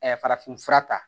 farafin fura ta